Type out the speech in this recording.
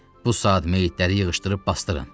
Bu saat meyitləri yığışdırıb basdırın.